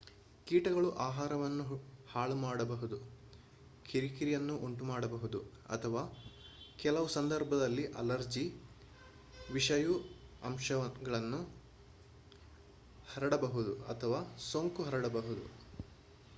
ಕೀಟಗಳು ಆಹಾರವನ್ನು ಹಾಳುಮಾಡಬಹುದು ಕಿರಿಕಿರಿಯನ್ನು ಉಂಟುಮಾಡಬಹುದು ಅಥವಾ ಕೆಲವು ಸಂದರ್ಭದಲ್ಲಿ ಅಲರ್ಜಿ ವಿಷಯು ಅಂಶಗಳನ್ನು ಹರಡಬಹುದು ಅಥವಾ ಸೋಂಕು ಹರಡಬಹುದು